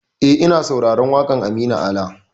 E, ina sauraron waƙar Aminu Ala.